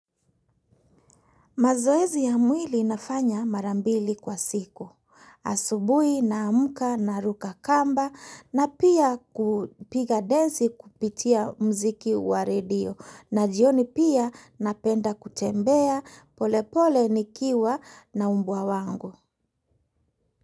Mazoezi ya mwili nafanya marambili kwa siku. Asubui naamka na ruka kamba na pia kupiga densi kupitia muziki wa radio na jioni pia napenda kutembea polepole nikiwa na umbwa wangu.